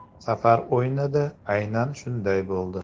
Safar o‘yinida aynan shunday bo‘ldi.